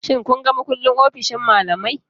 Shin kun ga mukullin ofishin malamai?